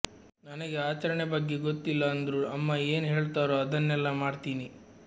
ನನಗೆ ಅಚರಣೆ ಬಗ್ಗೆ ಗೊತ್ತಿಲ್ಲ ಅಂದ್ರು ಅಮ್ಮ ಏನ್ ಹೇಳ್ತಾರೋ ಅದನ್ನೆಲ್ಲ ಮಾಡ್ತೀನಿ